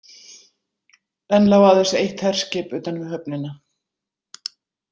Enn lá aðeins eitt herskip utan við höfnina.